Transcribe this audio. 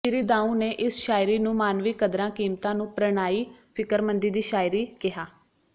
ਸ੍ਰੀ ਦਾਊਂ ਨੇ ਇਸ ਸ਼ਾਇਰੀ ਨੂੰ ਮਾਨਵੀ ਕਦਰਾਂ ਕੀਮਤਾਂ ਨੂੰ ਪ੍ਰਣਾਈ ਫਿਕਰਮੰਦੀ ਦੀ ਸ਼ਾਇਰੀ ਕਿਹਾ